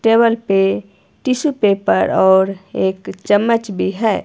Table पे tissue paper और एक चम्मच भी है।